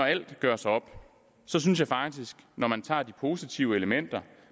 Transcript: alt gøres op når man tager de positive elementer